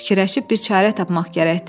Fikirləşib bir çarə tapmaq gərəkdir.